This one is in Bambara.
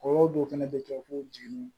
Kɔɲɔ dɔw fɛnɛ bɛ kɛ ko jenini